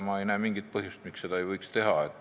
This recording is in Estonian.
Ma ei näe mingit põhjust, miks seda ei võiks teha.